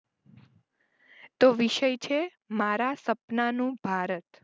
તો વિષય છે મારા સપનાનું ભારત.